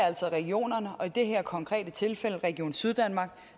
altså regionerne og i det her konkrete tilfælde region syddanmark